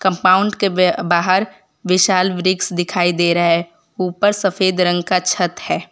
Compound के बे बाहर विशाल वृक्ष दिखाई दे रहा है उपर सफेद रंग का छत है।